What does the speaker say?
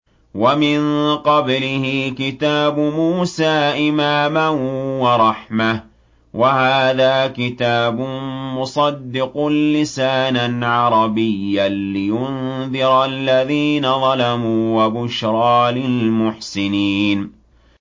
وَمِن قَبْلِهِ كِتَابُ مُوسَىٰ إِمَامًا وَرَحْمَةً ۚ وَهَٰذَا كِتَابٌ مُّصَدِّقٌ لِّسَانًا عَرَبِيًّا لِّيُنذِرَ الَّذِينَ ظَلَمُوا وَبُشْرَىٰ لِلْمُحْسِنِينَ